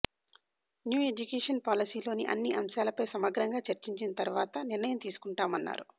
new education పాలసీలోని అన్నీ అంశాలపై సమగ్రంగా చర్చించిన తర్వాత నిర్ణయం తీసుకుంటామన్నారు